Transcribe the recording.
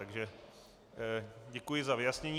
Takže děkuji za vyjasnění.